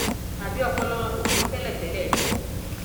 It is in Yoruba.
tàbí ọpọlọ wọn kò pẹ tẹlẹtẹlẹ ni